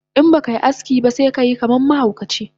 Inbakai aski ba sekayi kaman mahaukaci